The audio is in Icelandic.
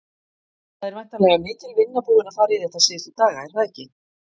Það er væntanleg mikil vinna búin að fara í þetta síðustu daga, er það ekki?